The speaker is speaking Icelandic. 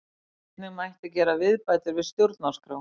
Einnig mætti gera viðbætur við stjórnarskrá